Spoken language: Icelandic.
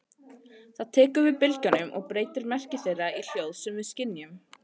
Það tekur við bylgjunum og breytir merki þeirra í hljóð sem við skynjum.